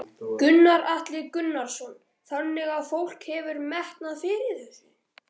Gunnar Atli Gunnarsson: Þannig að fólk hefur metnað fyrir þessu?